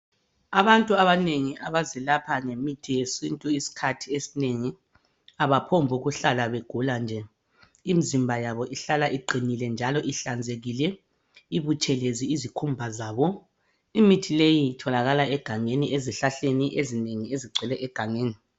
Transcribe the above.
Abantu abanengi abazilapha ngemithi yesintu isikhathi esinengi abaphombukuhlala begula nje. Imizimba yabo ihlala iqinile njalo ihlanzekile; ibuthelezi izikhumba zabo; imithi leyi itholakala egangeni ezihlahleni ezinengi ezigcwele egangeni.